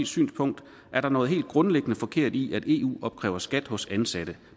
synspunkt er der noget helt grundlæggende forkert i at eu opkræver skat hos ansatte